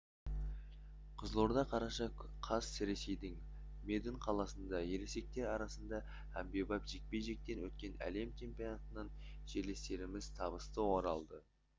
қызылорда қараша қаз ресейдің медынь қаласында ересектер арасында әмбебап жекпе-жектен өткен әлем чемпионатынан жерлестеріміз табысты оралды